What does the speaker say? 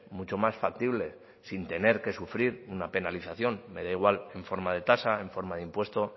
mucho más factibles sin tener que sufrir una penalización me da igual en forma de tasa en forma de impuesto